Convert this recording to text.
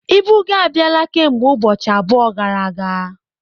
Ibu gị abịala kemgbe ụbọchị abụọ gara aga.